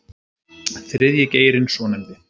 Þriðji geirinn svonefndi